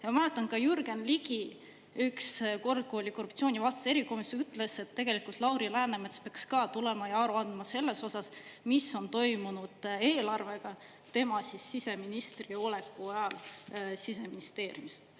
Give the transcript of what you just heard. Ja ma mäletan ka Jürgen Ligi üks kord, kui oli korruptsioonivastases erikomisjonis, ütles, et tegelikult Lauri Läänemets peaks ka tulema ja aru andma selles osas, mis on toimunud eelarvega tema siseministriks oleku ajal Siseministeeriumis.